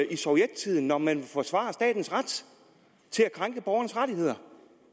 i sovjettiden når man ville forsvare statens ret til at krænke borgernes rettigheder